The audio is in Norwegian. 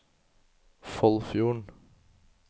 Foldfjorden